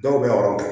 Dɔw bɛ yɔrɔ bɔ